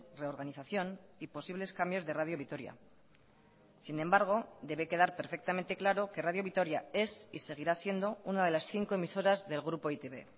reorganización y posibles cambios de radio vitoria sin embargo debe quedar perfectamente claro que radio vitoria es y seguirá siendo una de las cinco emisoras del grupo e i te be